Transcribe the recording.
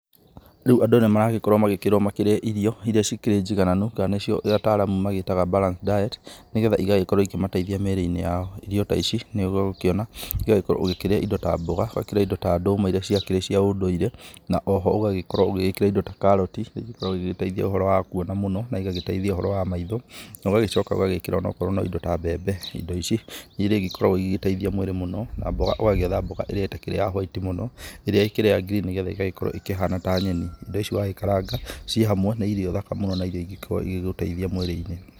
Rĩu andũ nĩ maragĩkorwo magĩkĩrwo marĩe irio iria ikĩrĩ njigananu nacio ataramu magĩtaga balanced diet nĩgetha igagĩkorwo ikĩmateithia mĩrĩ-inĩ yao, irio ta ici nĩ ũgũkĩona nĩ ũgũgĩkorwo ũkĩrĩa indo ta mboga, ũgakĩrĩa indo ta ndũma iria ciakĩrĩ cia ũndũire na oho ũgagĩkorwo ũgĩkĩrĩa indo ta karati ĩgagĩkorwo ĩgĩgĩteithia ũhoro wa kũona mũno na igagĩteithia ũhoro wa maitho mũno na ũgagĩcoka ũgekĩra indo ta mbembe, indo ici irĩa igĩkoragwo igĩteithia mwĩrĩ mũno na mboga ũgagĩetha mboga ĩrĩa ĩtakĩrĩ ya whĩti muno ĩrĩa ĩkĩrĩ ya ngirini nĩgetha ĩgagĩkorwo ĩkĩhana ta nyeni indo ici wagĩkarga ciĩ hamwe nĩ irio thaka mũno na irio ingĩ gũteithia mwĩrĩ-inĩ.